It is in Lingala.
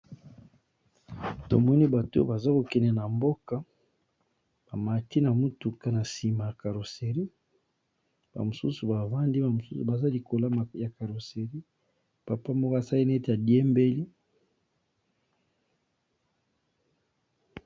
Tomoni bato baza kokende na mboka bamati na mutuka na nsima ya carosserie bamosusu bavandi bamosusu baza likolama ya carosserie papa moko asaini ete adiembeli.